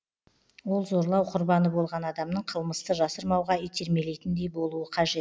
ол зорлау құрбаны болған адамның қылмысты жасырмауға итермелейтіндей болуы қажет